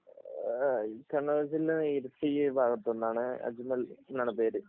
കണ്ണൂർ ജില്ലയിൽ ഇരുട്ടി എന്ന ഭാഗത്ത് നിന്നാണ് അജ്മൽ എന്നാണ് പേര്